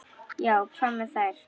Já, hvað með þær?